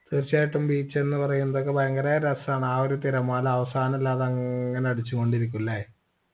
തീർച്ചയായിട്ടും beach ന്ന് പറയുന്നതൊക്കെ ഭയങ്കര രസാണ് ആ ഒരു തിരമാല അവസാനല്ലാതെ അങ്ങനെ അടിച്ചു കൊണ്ടിരിക്കും ല്ലേ